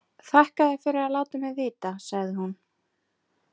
Þakka þér fyrir að láta mig vita, sagði hún.